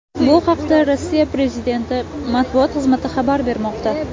Bu haqda Rossiya prezidenti matbuot xizmati xabar bermoqda .